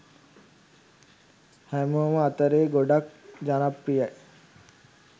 හැමොම අතරේ ගොඩක් ජනප්‍රියයි